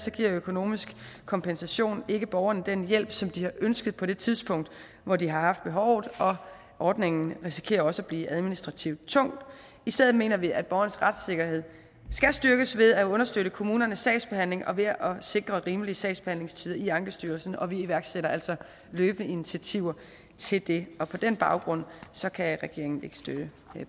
giver økonomisk kompensation ikke borgerne den hjælp som de har ønsket på det tidspunkt hvor de har haft behovet og ordningen risikerer også at blive administrativt tung i stedet mener vi at borgernes retssikkerhed skal styrkes ved at understøtte kommunernes sagsbehandling og ved at sikre rimelige sagsbehandlingstider i ankestyrelsen vi iværksætter altså løbende initiativer til det på den baggrund kan regeringen ikke støtte